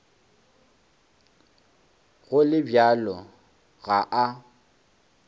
go le bjalo ga a